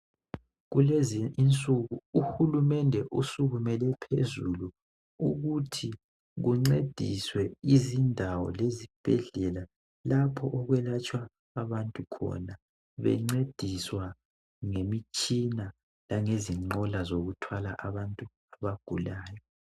Kulezi insuku uhulumende usukumele phezulu ukuthi kuncediswe izindawo lezibhedlela lapho okwelatshwa abantu khona bencediswa ngemitshina langezinqola zokuthwala abantu abagulayo